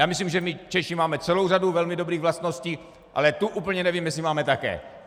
Já myslím, že my Češi máme celou řadu velmi dobrých vlastností, ale tu úplně nevím, jestli máme také.